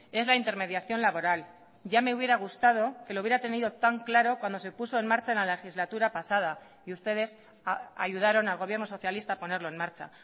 es la intermediación laboral ya me hubiera gustado que lo hubiera tenido tan claro cuando se puso en marcha en la legislatura pasada y ustedes ayudaron al gobierno socialista a ponerlo en marcha